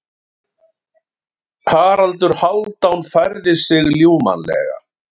Haraldur Hálfdán færði sig ljúfmannlega.